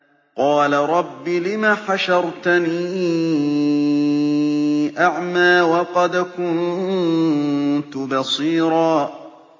قَالَ رَبِّ لِمَ حَشَرْتَنِي أَعْمَىٰ وَقَدْ كُنتُ بَصِيرًا